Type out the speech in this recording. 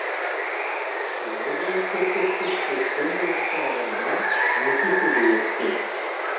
биыл бұл көрсеткіш өткен жылға қарағанда екі есеге өскен